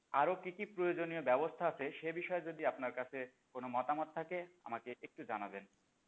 আরো কি কি প্রয়োজনীয় ব্যাবস্থা আছে? সে বিষয়ে যদি আপনার কাছে কোন মতামত থাকে আমাকে একটু জানাবেন